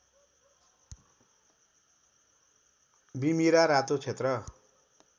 बिमिरा रातो क्षेत्र